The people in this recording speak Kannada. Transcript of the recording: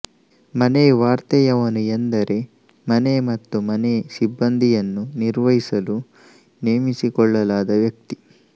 ಮನೆವಾರ್ತೆಯವನು ಎಂದರೆ ಮನೆ ಮತ್ತು ಮನೆ ಸಿಬ್ಬಂದಿಯನ್ನು ನಿರ್ವಹಿಸಲು ನೇಮಿಸಿಕೊಳ್ಳಲಾದ ವ್ಯಕ್ತಿ